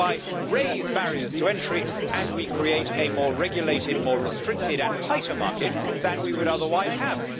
We thereby raise barriers to entry and we create a more regulated, more restricted, and tighter market than we would otherwise have.